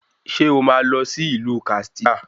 Ṣé o máa lọ sí ìlú Kàtsínà